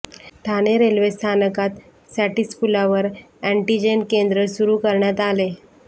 Thane railway स्थानकात SATIS पुलावर antigen केंद्र सुरू करण्यात आले